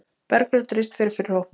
Bergljót Rist fer fyrir hópnum.